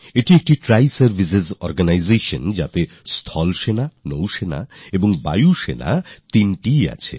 এটি একটি ট্রাইজারভিসারগানাইজেশন যেখানে সেনা নৌসেনা আর বায়ুসেনা তিনটিই রয়েছে